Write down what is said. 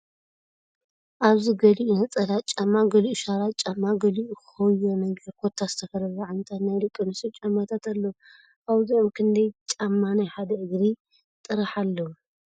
ኣብዚ ገሊኡ ነፀላ ጫማ ገሊኡ ሻራ ጫማ ገሊኡ ኮዮ ነገር ኮታስ ዝተፈላለዩ ዓይነታት ናይ ደቒ ኣነስትዮ ጫማታት ኣለዉ ፡ ካብዚኦም ክንደይ ጫማ ናይ ሓደ እግሪ ጥራሕ ኣለዉ ?